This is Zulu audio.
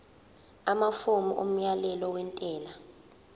amafomu omyalelo wentela